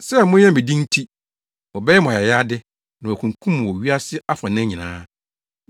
“Sɛ moyɛ me de nti, wɔbɛyɛ mo ayayade, na wɔakunkum mo wɔ wiase afanan nyinaa,